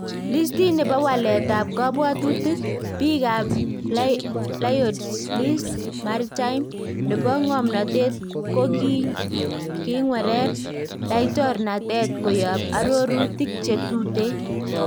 Listiit nebo waleetab kabwatutikab biik ab Lloyds List Maritime nebo ng'omnotet koking'wereer laitornatet koyaab aroruutik chetuteen.